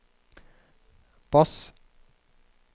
bass